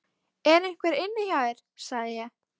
ER EINHVER INNI HJÁ ÞÉR, SAGÐI ÉG?